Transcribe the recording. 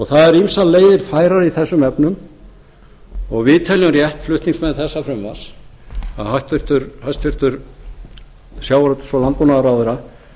það eru ýmsar leiðir færar í þessum efnum við flutningsmenn þessa frumvarps telja rétt að hæstvirtur sjávarútvegs og landbúnaðarráðherra